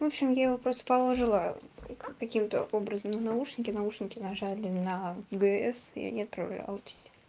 в общем я его просто положила каким-то образом наушники наушники нажали на г с и они отправлялись